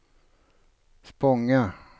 Spånga